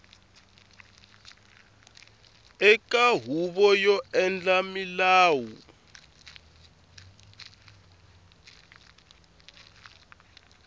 eka huvo yo endla milawu